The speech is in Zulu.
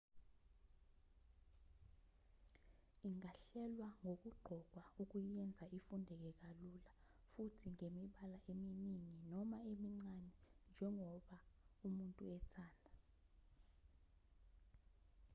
ingahlelwa ngokuqokwa ukuyenza ifundeke kalula futhi ngemibala iminingi noma emincane njengoba umuntu ethanda